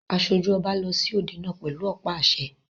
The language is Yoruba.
Aṣojú ọba lọ sí òde náà pẹ̀lú ọ̀pá àṣẹ.